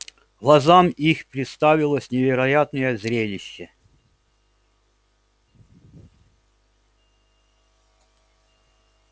глазам их представилось невероятное зрелище